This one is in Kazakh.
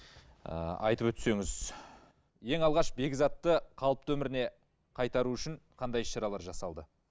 ы айтып өтсеңіз ең алғаш бекзатты қалыпты өміріне қайтару үшін қандай іс шаралар жасалды